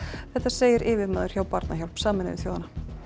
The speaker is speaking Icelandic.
þetta segir yfirmaður hjá Barnahjálp Sameinuðu þjóðanna